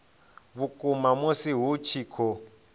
vhukuma musi hu tshi khou